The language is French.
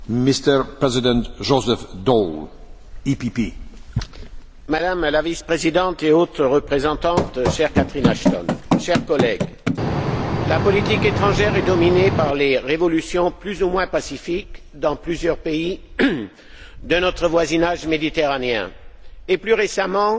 Monsieur le Président, Madame la vice présidente et haute représentante, chère Catherine Ashton, chers collègues, la politique étrangère est dominée par les révolutions plus ou moins pacifiques dans plusieurs pays de notre voisinage méditerranéen, et, plus récemment,